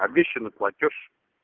обещанный платёж